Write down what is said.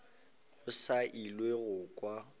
go sa elwego go kwa